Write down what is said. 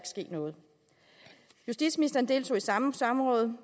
ske noget justitsministeren deltog i samme samråd